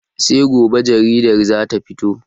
Sai gobe jaridar za ta fito.